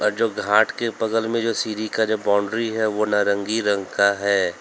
और जो घाट के बगल में जो सीरी का जो बाउंड्री है वो नारंगी रंग का है।